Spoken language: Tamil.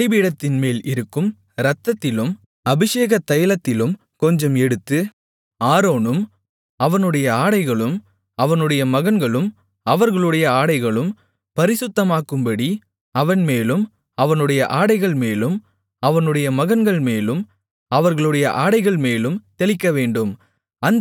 பலிபீடத்தின்மேல் இருக்கும் இரத்தத்திலும் அபிஷேகத் தைலத்திலும் கொஞ்சம் எடுத்து ஆரோனும் அவனுடைய ஆடைகளும் அவனுடைய மகன்களும் அவர்களுடைய ஆடைகளும் பரிசுத்தமாக்கப்படும்படி அவன்மேலும் அவனுடைய ஆடைகள்மேலும் அவனுடைய மகன்கள்மேலும் அவர்களுடைய ஆடைகள்மேலும் தெளிக்கவேண்டும்